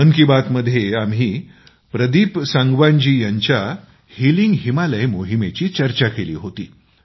मन की बात मध्ये आम्ही प्रदीप सांगवान जी यांच्या हिलिंग हिमालय मोहिमेची चर्चा केली होती